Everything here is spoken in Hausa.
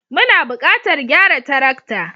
Muna buƙatar gyara tarakta.